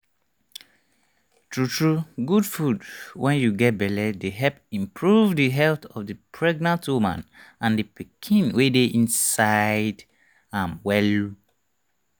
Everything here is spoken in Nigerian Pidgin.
true true good food wen u get belle dey help improve the health of the pregnant woman and the pikiin wey dey inside am well